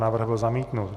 Návrh byl zamítnut.